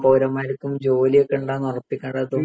പൗരന്മാർക്കും ജോലിയൊക്കെ ഉണ്ടോന്ന് ഉറപ്പിക്കേണ്ടതും